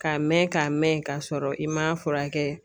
Ka mɛn ka mɛn k'a sɔrɔ i ma furakɛ.